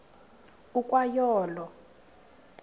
ukwa yo olo